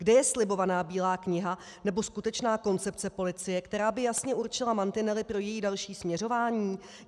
Kde je slibovaná bílá kniha nebo skutečná koncepce policie, která by jasně určila mantinely pro její další směřování?